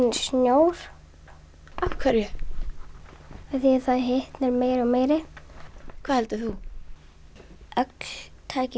snjór af hverju af því að það hitnar meira og meiri hvað heldur þú öll tæki